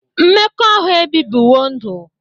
Mmekọahụ ebibiwo ndụ.